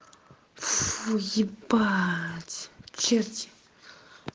пф у ебать черти